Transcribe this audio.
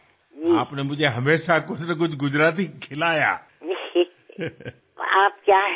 నేను ఎప్పుడు మీ వద్దకు వచ్చినా మీరు నాకు ఏదో ఒక గుజరాతీ వంటకాన్నే తినిపించారు